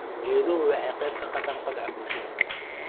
Geeduhu waxay ka qayb qaataan kobaca bulshada.